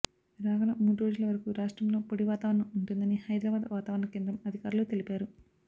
రాగల మూడ్రోజుల వరకు రాష్ట్రంలో పొడి వాతావరణం ఉంటుందని హైదరాబాద్ వాతావరణ కేంద్రం అధికారులు తెలిపారు